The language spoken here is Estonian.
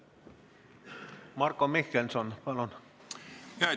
Marko Mihkelson, palun!